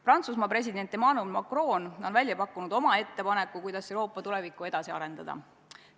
Prantsusmaa president Emmanuel Macron on pakkunud välja ettepaneku, kuidas Euroopa tulevikku edasi arendada.